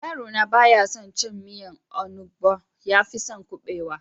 Yaro na baya son cin miyan onugbo, yafi son kubewa.